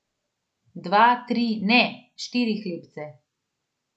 Dva, tri, ne, štiri hlebce!